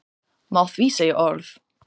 Má því segja að orð